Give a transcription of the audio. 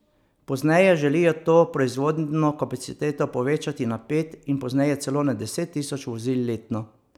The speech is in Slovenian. Pozneje želijo to proizvodno kapaciteto povečati na pet in pozneje celo na deset tisoč vozil letno.